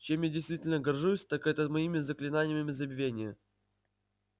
чем я действительно горжусь так это моими заклинаниями забвения